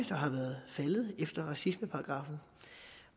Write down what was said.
faldet efter racismeparagraffen